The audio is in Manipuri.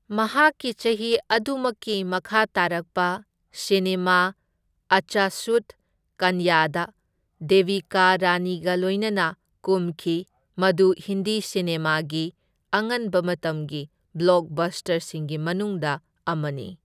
ꯃꯍꯥꯛꯀꯤ ꯆꯍꯤ ꯑꯗꯨꯃꯛꯀꯤ ꯃꯈꯥꯇꯥꯔꯛꯄ ꯁꯤꯅꯦꯃꯥ ꯑꯆꯁꯨꯠ ꯀꯟꯌꯥꯗ ꯗꯦꯕꯤꯀꯥ ꯔꯥꯅꯤꯒ ꯂꯣꯢꯅꯅ ꯀꯨꯝꯈꯤ, ꯃꯗꯨ ꯍꯤꯟꯗꯤ ꯁꯤꯅꯦꯃꯥꯒꯤ ꯑꯉꯟꯕ ꯃꯇꯝꯒꯤ ꯕ꯭ꯂꯣꯛꯕꯁꯇꯔꯁꯤꯡꯒꯤ ꯃꯅꯨꯡꯗ ꯑꯃꯅꯤ꯫